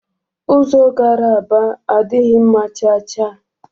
Ụzọ gara Aba adịghị mma cha cha